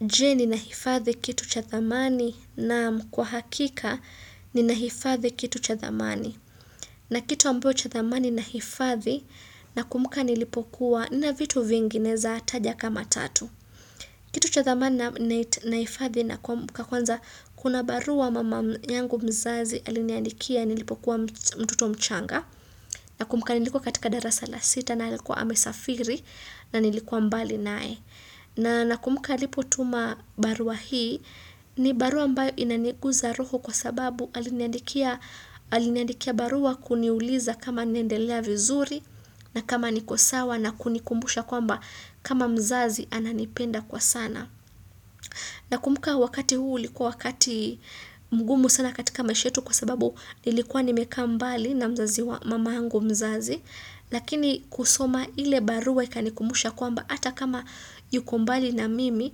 Je, ninahifadhi kitu cha thamani? Naam, kwa hakika ninahifadhi kitu cha thamani. Na kitu ambacho cha thamani nahifadhi, nakumuka nilipokuwa, nina vitu vingine zaezataja kama tatu. Kitu cha thamani na hifadhi nakumbuka kwanza kuna barua mama yangu mzazi aliniandikia nilipokuwa mtoto mchanga. Na kumbuka nilikuwa katika darasala sita na alikuwa amesafiri na nilikuwa mbali nae. Na nakumuka alipotuma barua hii ni barua mbayo inaniguza roho kwa sababu aliniandikia aliniandikia barua kuniuliza kama nendelea vizuri na kama nikosawa na kunikumbusha kwamba kama mzazi ananipenda kwa sana. Na kumuka wakati huu ulikua wakati mgumu sana katika maishetu kwa sababu nilikuwa nimeka mbali na mzazi wa mama yangu mzazi. Lakini kusoma ile barua ikanikumusha kwamba ata kama yuko mbali na mimi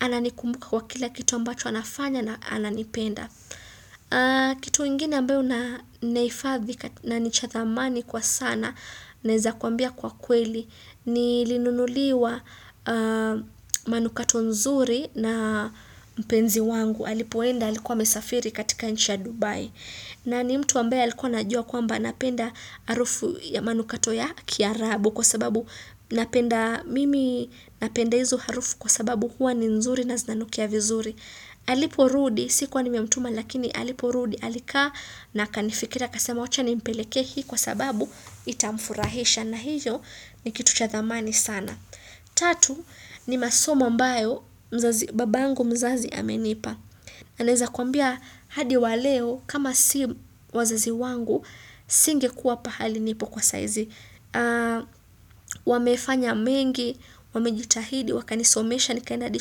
ananikumbuka kwa kila kitu ambacho anafanya na ananipenda. Kitu ingine ambeo na neifadhi na nichathamani kwa sana naeza kuambia kwa kweli. Ni linunuliwa manukato nzuri na mpenzi wangu Alipoenda alikuwa amesafiri katika nchia Dubai na ni mtu ambaye alikuwa anajua kwamba napenda arufu ya manukato ya kiarabu Kwa sababu napenda mimi napenda hizo harufu kwa sababu huwa ni nzuri na zinanukia vizuri alipo rudi, sikuwa nimemtuma lakini alipo rudi Alika na akanifikiri akasema kua achani mpelekehii kwa sababu itamfurahisha na hicho ni kitu chathamani sana Tatu ni masomo ambayo mzazi babangu mzazi amenipa na neza kuambia hadi waleo kama si wazazi wangu Singe kuwa pahali nipo kwa saizi wamefanya mengi, wamejitahidi, wakanisomesha, nikaenda adi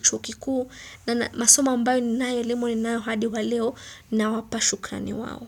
chuokikuu na masomo ambayo ni nayo elimo ni nayo hadi waleo na wapashukani wao.